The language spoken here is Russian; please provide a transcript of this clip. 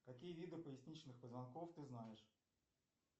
какие виды поясничных позвонков ты знаешь